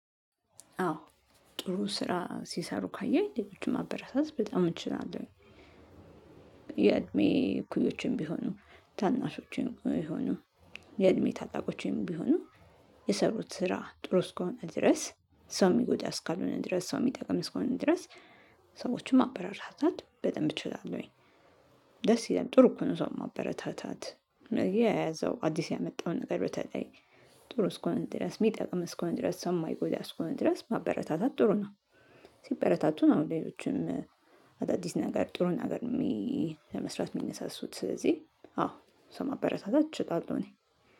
አዎ ጥሩ ስራ ሲሰሩ ካየሁኝ ሌሎችን ማበረታታት በጣም እንችላለን። የእድሜ እኩዮችም ቢሆኑ ታናሾችን ቢሆኑ የእድሜ ታላቆቼም ቢሆኑ የሰሩት ስራ ጥሩ እስከሆነ ድረስ ሰው የሚጎዳ እስካልሆነ ድረስ ሰው የሚጠቅም እስከሆነ ድረስ ሰዎችን ማበረታታት በደንብ እችላለሁኝ። ደስ ይለኛል ጥሩ እኮ ነው ሰው ማበረታታት ያ እዛው አዲስ ያመጣው ነገር በተለይ ጥሩ እስኮሆነ ድረስ የሚጠቅም እስኮሆነ ድረስ ሰው ማይጎዳ እስኮሆነ ድረስ ማበረታታት ጥሩ ነው። ሲበረታቱ ነው ሌሎችም አዳዲስ ነገር ጥሩ ነገር ለመስራት የሚነሳሱት። ስለዚህ አዎ ሰው ማበረታታት እችላለሁ እኔ